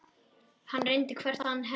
Hann reyndi hvert hennar orð.